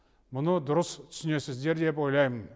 мұны дұрыс түсінесіздер деп ойлаймын